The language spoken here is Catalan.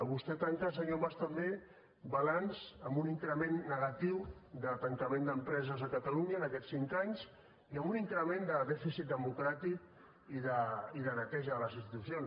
vostè tanca senyor mas també balanç amb un increment negatiu de tancament d’empreses a catalunya en aquests cinc anys i amb un increment de dèficit democràtic i de neteja de les institucions